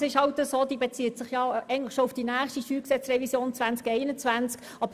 Im Grunde bezieht sie sich auf die Steuergesetzrevision 2021.